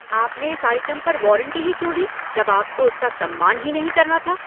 आपने इस आइटम पर वॉरंटी ही क्यों दी जब आपको उसका सम्मान ही नहीं करना था।